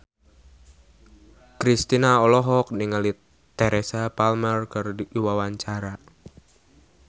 Kristina olohok ningali Teresa Palmer keur diwawancara